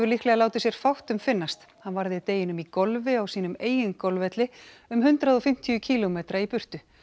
líklega látið sér fátt um finnast hann varði deginum í golfi á sínum eigin golfvelli um hundrað og fimmtíu kílómetra í burtu